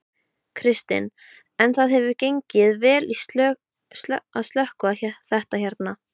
Kristinn: En það hefur gengið vel að slökkva þetta hérna?